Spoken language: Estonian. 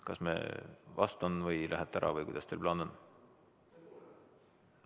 Kas ma vastan või lähete ära või kuidas teil plaan on?